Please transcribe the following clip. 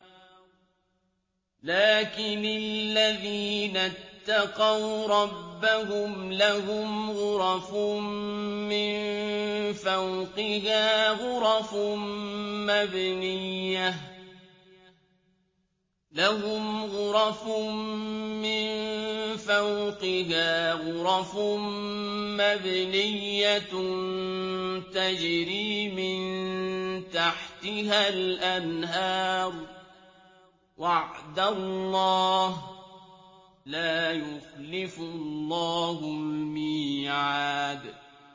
لَٰكِنِ الَّذِينَ اتَّقَوْا رَبَّهُمْ لَهُمْ غُرَفٌ مِّن فَوْقِهَا غُرَفٌ مَّبْنِيَّةٌ تَجْرِي مِن تَحْتِهَا الْأَنْهَارُ ۖ وَعْدَ اللَّهِ ۖ لَا يُخْلِفُ اللَّهُ الْمِيعَادَ